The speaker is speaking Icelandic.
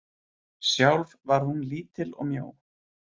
Sjálf var hún lítil og mjó.